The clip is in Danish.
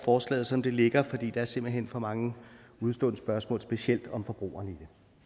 forslaget som det ligger fordi der simpelt hen er for mange udestående spørgsmål specielt om forbrugerne i